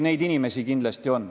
Neid inimesi kindlasti on.